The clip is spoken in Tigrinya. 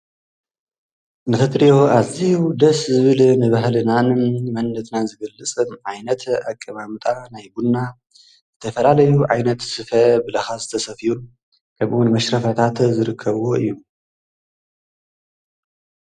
ንክትርእዮ ኣዝዩ ደስ ዝብል ንባህልናን መንነትናን ዝገልጽ ዓይነት ኣቀማምጣ ናይ ቡና ዝተፈላለዩ ዓይነት ስፈ ብላካ ዝተሰፈዩን ከምኡ ዉን መሽረፈታት ዝርከብዎ እዩ።